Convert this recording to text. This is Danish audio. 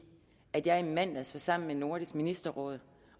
at jeg i mandags var sammen med nordisk ministerråd